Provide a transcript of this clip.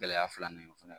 Gɛlɛya filanan ye o fana ye